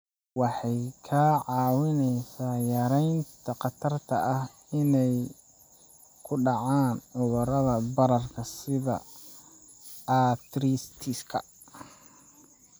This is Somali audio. Waxay kaa caawinaysaa yaraynta khatarta ah inay ku dhacaan cudurrada bararka sida arthritis-ka.